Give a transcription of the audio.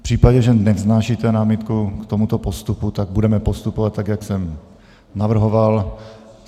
V případě, že nevznášíte námitku k tomuto postupu, tak budeme postupovat tak, jak jsem navrhoval.